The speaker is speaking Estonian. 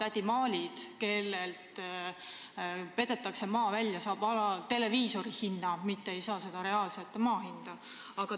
Väike kommentaar sellele vastusele: ma näen siin konflikti, sest ministeeriumi seisukoht ja inimeste seisukohad meedia vahendusel ei taha millegipärast klappida.